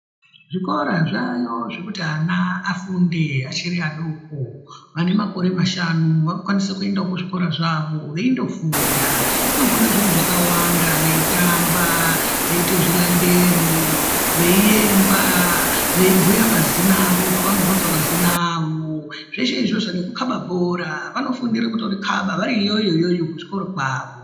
Zvikora zvaayo zvekuti ana afunde achiri adoko. Vane makore mashanu vakukwanisa kuenda kuzvikora zvavo, veindofunda. Vanofunda zviro zvakawanda veitamba, veiita zvilandero, veiyemba, veibhuya mazina avo peva nobvunzwa mazina avo. Zveshe izvozvo nekukhaba bhora vanofundire kutorikhaba variyoyo kuchikora kwavo.